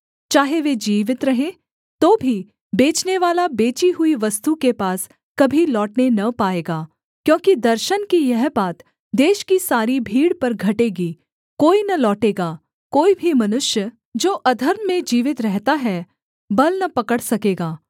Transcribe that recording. चाहे वे जीवित रहें तो भी बेचनेवाला बेची हुई वस्तु के पास कभी लौटने न पाएगा क्योंकि दर्शन की यह बात देश की सारी भीड़ पर घटेगी कोई न लौटेगा कोई भी मनुष्य जो अधर्म में जीवित रहता है बल न पकड़ सकेगा